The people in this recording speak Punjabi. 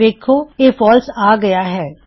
ਵੇੱਖੋ ਇਹ ਫਾਲਸ ਆ ਗਇਆ ਹੈ